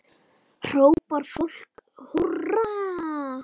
Þá hrópar fólk húrra.